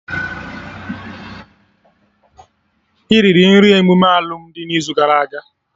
Iriri nri n'emume alụmdi n'izu gara aga?